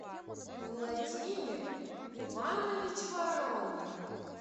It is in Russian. владимир иванович воронин